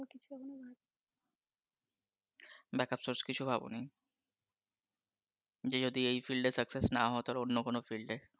backup source কিছু ভাবনি। যেই যোগ্যতায় সফল না হয় তাহলে অন্য কোনও যোগ্যতার